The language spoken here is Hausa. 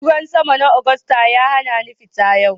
Ruwan sama na Agusta ya hana ni fita yau